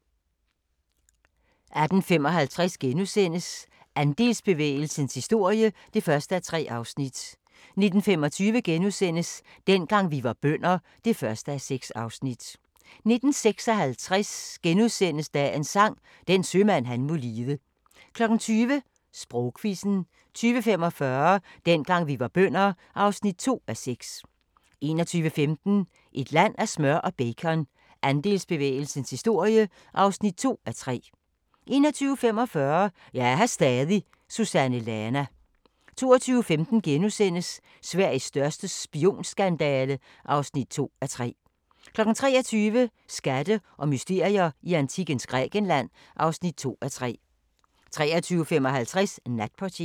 18:55: Andelsbevægelsens historie (1:3)* 19:25: Dengang vi var bønder (1:6)* 19:56: Dagens Sang: Den sømand han må lide * 20:00: Sprogquizzen 20:45: Dengang vi var bønder (2:6) 21:15: Et land af smør og bacon – Andelsbevægelsens historie (2:3) 21:45: Jeg er her stadig – Susanne Lana 22:15: Sveriges største spionskandale (2:3)* 23:00: Skatte og mysterier i antikkens Grækenland (2:3) 23:55: Natportieren